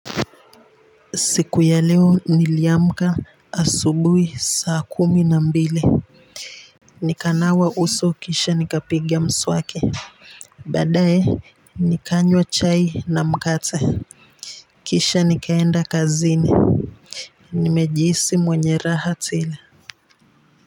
Siku ya leo niliamka asubuhi saa kumi na mbili. Nikanawa uso kisha nikapigia mswaki baadaye nikanywa chai na mkate kisha nikaenda kazini. Nimejihisi mwenye raha tele.